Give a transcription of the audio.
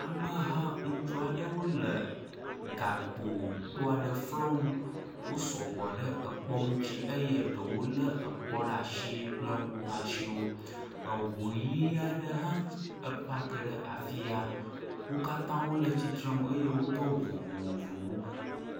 Ameha ŋutsu aɖewo le gakpo kpo aɖe flɔm. Wosɔ gbɔ ɖe kpɔa ŋuti eye ɖewo lé kpɔ ɖe asi kple woƒe asiwo. Ŋu ʋi aɖe hã epaki ɖe afia. Wo katã wole tsitre ŋu eye wodo awu vovovowo.